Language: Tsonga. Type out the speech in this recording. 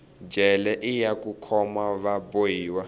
jele iya ku khoma va bohiwa